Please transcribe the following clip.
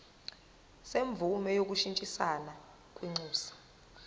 semvume yokushintshisana kwinxusa